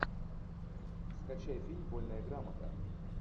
скачай фильм вольная грамота